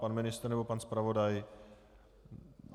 Pan ministr nebo pan zpravodaj.